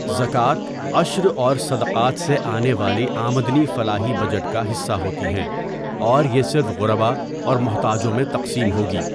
زکوٰۃ، عشر اور صدقات سے آنے والی آمدنی فلاحی بجٹ کا حصّہ ہوتی ہیں اور یہ صرف غرباء اور محتاجوں میں تقسیم ہوگی.